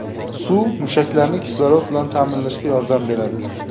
Suv mushaklarni kislorod bilan ta’minlashga yordam beradi.